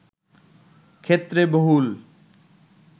ক্ষেত্রে বহুল